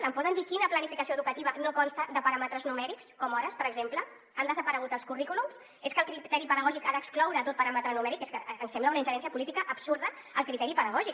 em poden dir quina planificació educativa no consta de paràmetres numèrics com hores per exemple han desaparegut als currículums és que el criteri pedagògic ha d’excloure tot paràmetre numèric és que ens sembla una ingerència política absurda al criteri pedagògic